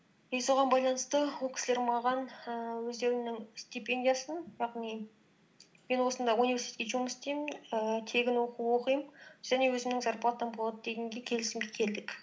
и соған байланысты ол кісілер маған ііі өздерінің стипендиясын яғни мен осында университетке жұмыс істеймін ііі тегін оқу оқимын және өзімнің зарплатам болады дегенге келісімге келдік